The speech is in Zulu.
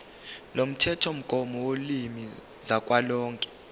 lomthethomgomo wolimi kazwelonke